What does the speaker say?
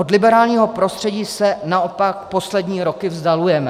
Od liberálního prostředí se naopak poslední roky vzdalujeme...